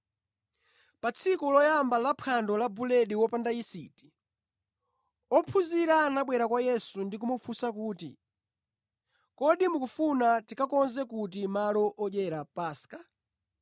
Pa tsiku loyamba laphwando la buledi wopanda yisiti, ophunzira anabwera kwa Yesu ndi kumufunsa kuti, “Kodi mukufuna tikakonze kuti malo odyera Paska?”